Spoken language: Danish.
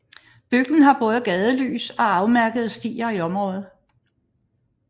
Bygden har både gadelys og afmærkede stier i nærområdet